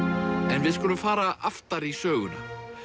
en við skulum fara aftar í söguna